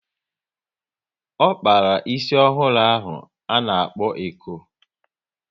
O kpara ísì ọhụrụ ahụ a na-kpo eko